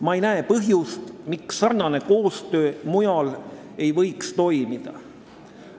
Ma ei näe põhjust, miks samasugune koostöö ei võiks toimuda mujal.